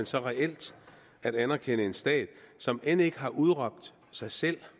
så reelt at anerkende en stat som end ikke har udråbt sig selv